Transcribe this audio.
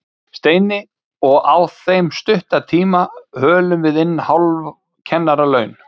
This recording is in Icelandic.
Steini, og á þeim stutta tíma hölum við inn hálf kennaralaun